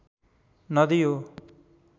नदी हो